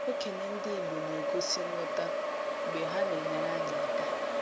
Okenye ndị igbo na - egosi nghọta mgbe ha na - enyere anyị aka.